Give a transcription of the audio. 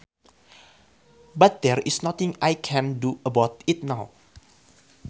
But there is nothing I can do about it now